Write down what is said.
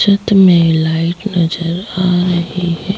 छत में लाइट नजर आ रही है।